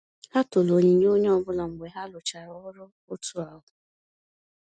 Ha toro onyinye onye ọbụla mgbe aruchara ọrụ otu ahu